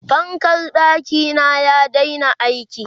fankar ɗakina ya Daina aiki